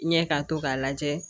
Ɲɛ ka to k'a lajɛ